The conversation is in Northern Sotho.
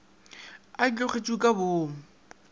a e tlogetšego ka boomo